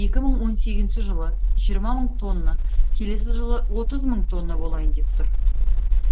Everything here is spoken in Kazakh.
екі мың он сегізінші жылы жиырма мың тонна келесі жылы отыз мың тонна болайын деп тұр